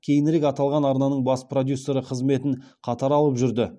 кейінірек аталған арнаның бас продюсері қызметін қатар алып жүрді